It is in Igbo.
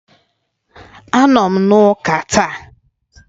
Anọ m na Ụka ​​taa.